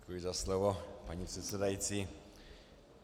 Děkuji za slovo, paní předsedající.